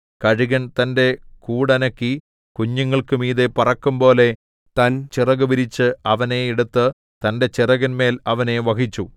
കഴുകൻ തന്റെ കൂടനക്കി കുഞ്ഞുങ്ങൾക്കു മീതെ പറക്കും പോലെ തൻ ചിറകു വിരിച്ച് അവനെ എടുത്ത് തന്റെ ചിറകിന്മേൽ അവനെ വഹിച്ചു